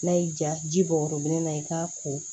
N'a y'i ja ja ji bɔ yɔrɔ min na i k'a ko